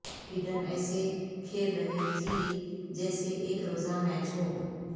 Hayden ایسے کھیل رہے تھی جیسے ایک روزہ میچ ہو